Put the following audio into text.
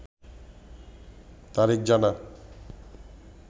তারিখ জানা